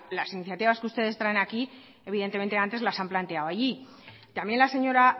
las iniciativas que ustedes traen aquí evidentemente antes las han planteado allí también la señora